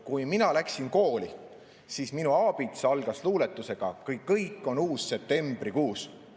Kui mina läksin kooli, siis minu aabits algas luuletusega "Kõik, kõik on uus septembrikuus".